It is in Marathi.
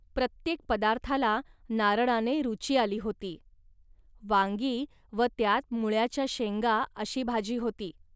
प्रत्येक पदार्थाला नारळाने रुची आली होती. वांगी व त्यात मुळ्याच्या शेंगा अशी भाजी होती